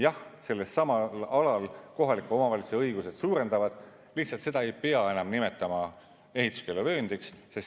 Jah, sellelsamal alal kohalike omavalitsuste õigused suurenevad, lihtsalt seda ei pea enam nimetama ehituskeeluvööndiks.